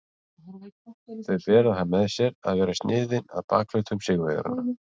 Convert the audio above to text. Þau bera það með sér að vera sniðin að bakhlutum sigurvegaranna.